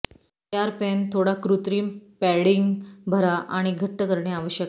तयार पेन थोडा कृत्रिम पॅडिंग भरा आणि घट्ट करणे आवश्यक आहे